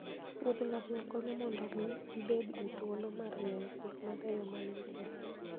wuodh ngamia konyo mondo omii ibedgi thuolo mar ng'iyo gik mabeyo ma ne ni e thim